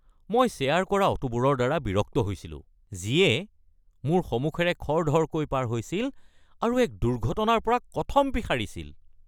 মই শ্বেয়াৰ কৰা অটোবোৰৰ দ্বাৰা বিৰক্ত হৈছিলো যিয়ে মোৰ সমুখেৰে খৰধৰকৈ পাৰ হৈছিল আৰু এক দুৰ্ঘটনাৰ পৰা কথমপি সাৰিছিল।